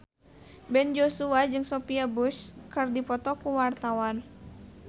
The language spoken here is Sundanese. Ben Joshua jeung Sophia Bush keur dipoto ku wartawan